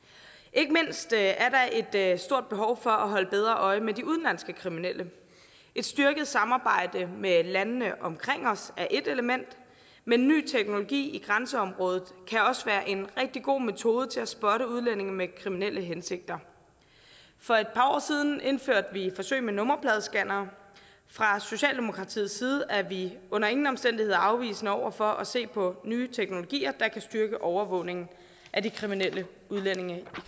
ikke mindst er der et stort behov for at holde bedre øje med de udenlandske kriminelle et styrket samarbejde med landene omkring os er ét element men ny teknologi i grænseområdet kan også være en rigtig god metode til at spotte udlændinge med kriminelle hensigter for et par år siden indførte vi et forsøg med nummerpladescannere fra socialdemokratiets side er vi under ingen omstændigheder afvisende over for at se på nye teknologier der kan styrke overvågningen af de kriminelle udlændinge i